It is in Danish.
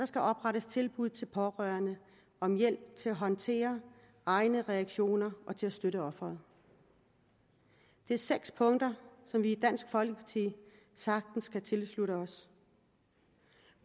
skal oprettes tilbud til pårørende om hjælp til at håndtere egne reaktioner og til at støtte offeret det er seks punkter som vi i dansk folkeparti sagtens kan tilslutte os